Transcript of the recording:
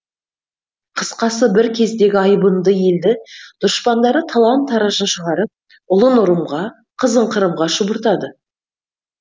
қысқасы бір кездегі айбынды елді дұшпандары талан таражын шығарып ұлын ұрымға қызын қырымға шұбыртады